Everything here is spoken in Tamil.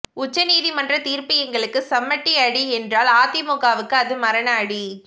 உச்சநீதிமன்ற தீர்ப்பு எங்களுக்கு சம்மட்டி அடி என்றால் அதிமுகவுக்கு அது மரண அடி